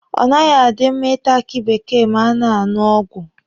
Ọ naghị adị mma Ị ta aki bekee ma a na-aṅụ ọgwụ.